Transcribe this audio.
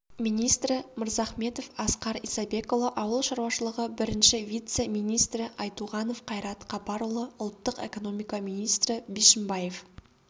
министрі мырзахметов асқар исабекұлы ауыл шаруашылығы бірінші вице-министрі айтуғанов қайрат қапарұлы ұлттық экономика министрі бишімбаев